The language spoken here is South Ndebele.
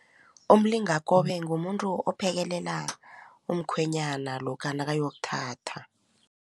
Umlingakobe ngumuntu ophekelela umkhwenyana lokha nakayokuthatha.